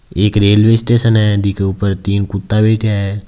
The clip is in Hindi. एक रेल्वे स्टेशन है बीके ऊपर तीन कुत्ता बैठ्या है।